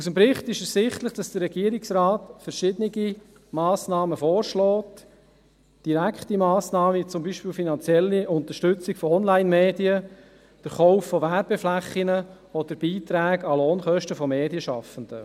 Aus dem Bericht ist ersichtlich, dass der Regierungsrat verschiedene Massnahmen vorschlägt – direkte Massnahmen, wie zum Beispiel die finanzielle Unterstützung von Onlinemedien, der Kauf von Werbeflächen oder Beiträge an Lohnkosten von Medienschaffenden.